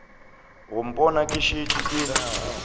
go mpona ke šetše ke